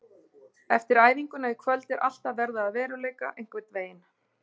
Eftir æfinguna í kvöld er allt að verða að veruleika einhvern veginn.